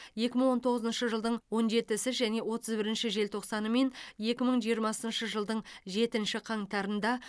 екі мың он тоғызыншы жылдың он жетісі және отыз бірінші желтоқсаны мен екі мың жиырмасыншы жылдың жетінші қаңтарында